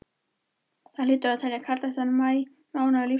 Þetta hlýtur að teljast kaldasti maí mánuður lífs míns.